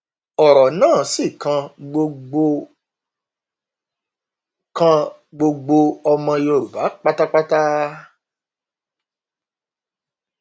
ọrọ náà sì kan gbogbo kan gbogbo ọmọ yorùbá pátápátá